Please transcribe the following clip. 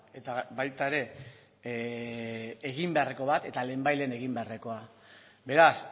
eta baita ere egin beharreko bat eta lehen bai lehen egin beharrekoa beraz